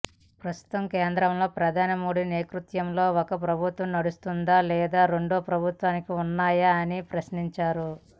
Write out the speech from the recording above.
ప్రస్తుతం కేంద్రంలో ప్రధాని మోడీ నేతత్వంలో ఒక ప్రభుత్వం నడుస్తుందా లేదా రెండు ప్రభుత్వాలు ఉన్నాయా అని ప్రశ్నించారు